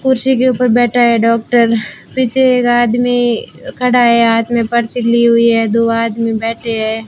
कुर्सी के ऊपर बैठा है डॉक्टर पीछे एक आदमी खड़ा है हाथ में पर्ची ली हुई है दो आदमी बैठे है।